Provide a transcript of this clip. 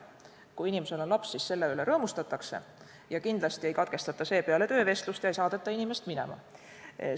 Kui töösoovijal on laps, siis selle üle rõõmustatakse, kindlasti ei katkestata seepeale töövestlust ega saadeta inimest minema.